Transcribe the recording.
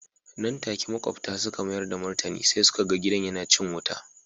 Nan take makwabta suka mayar da martani sai suka ga gidan yana cin wuta.